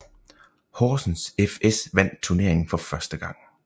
Horsens fS vandt turneringen for første gang